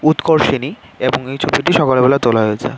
উৎকর্ষিণী এবং এই ছবিটি সকালবেলা তোলা হয়েছে।